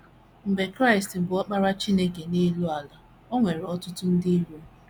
Mgbe Kraịst, bụ́ Ọkpara Chineke nọ n’elu ala, o nwere ọtụtụ ndị iro.